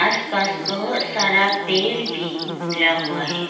आसपास बहोत सारा पेर भी निकला हुआ है।